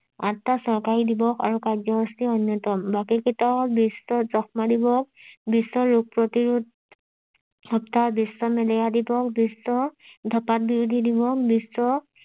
আঠ তা চৰকাৰি দিৱস আৰু কাৰ্য্যসূচী অন্যতম বাকি কেইটা বিশ্ব যক্ষ্মা দিৱস বিশ্ব ৰোগ প্ৰতিৰোধ বিশ্ব মেলেৰিয়া দিৱস বিশ্ব ধপাঁতবিৰোধী দিৱস বিশ্ব